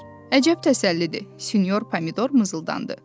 Əcəb təsəllidir, sinyor pomidor mızıldandı.